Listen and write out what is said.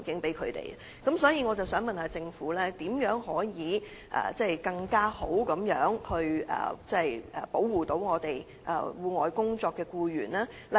就此，我想問政府如何進一步保護在戶外工作的僱員？